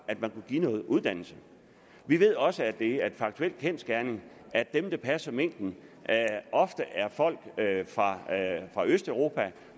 at man kunne give noget uddannelse vi ved også at det er en kendsgerning at dem der passer minken ofte er folk fra østeuropa